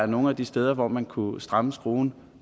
nogle af de steder hvor man kunne stramme skruen